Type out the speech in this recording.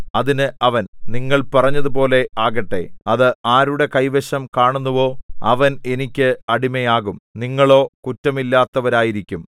അതിന് അവൻ നിങ്ങൾ പറഞ്ഞതുപോലെ ആകട്ടെ അത് ആരുടെ കൈവശം കാണുന്നുവോ അവൻ എനിക്ക് അടിമയാകും നിങ്ങളോ കുറ്റമില്ലാത്തവരായിരിക്കും